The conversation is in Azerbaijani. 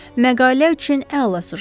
Məqalə üçün əla süjetdir.